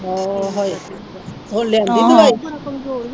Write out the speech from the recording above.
ਹੋ ਹਾਏ ਹੁਣ ਲਿਆਂਦੀ ਦਵਾਈ